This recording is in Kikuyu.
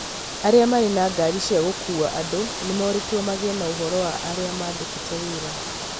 Arĩa marĩ na ngari cia gũkuua andũ nĩ morĩtwo magĩe na ũhoro wa arĩa mandĩkĩte wĩra